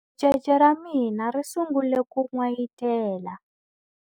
Ricece ra mina ri sungule ku n'wayitela.